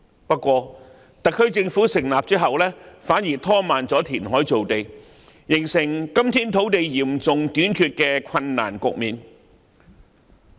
不過，特區政府在成立後反而拖慢填海造地，形成今天土地嚴重短缺的困難局面。